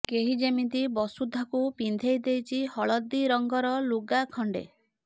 କେହି ଯେମିତି ବସୁଧାକୁ ପିନ୍ଧେଇ ଦେଇଛି ହଳଦୀ ରଙ୍ଗର ଲୁଗା ଖଣ୍ଡେ